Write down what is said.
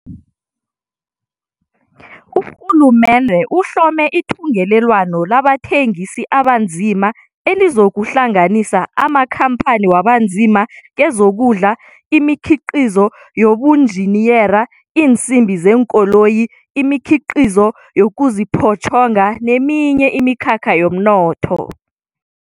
Urhulumende uhlome ithungelelwano labathengisi abanzima elizokuhlanganisa amakhampani wabanzima kezokudla, imikhiqizo yobunjiniyera, iinsimbi zeenkoloyi, imikhiqizo yokuziphotjhonga neminye imikhakha yomnotho.